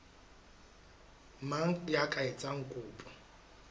mang ya ka etsang kopo